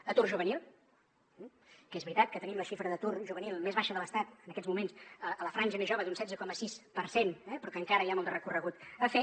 atur juvenil que és veritat que tenim la xifra d’atur juvenil més baixa de l’estat en aquests moments a la franja més jove d’un setze coma sis per cent eh però que encara hi ha molt de recorregut a fer